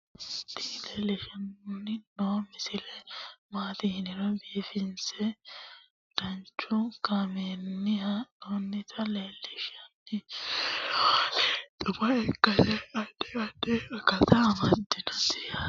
tini leeltanni noo misile maaati yiniro biifinse danchu kaamerinni haa'noonnita leellishshanni nonketi xuma ikkase addi addi akata amadaseeti yaate konnira biiffanno misileeti tini gimboolaho yaate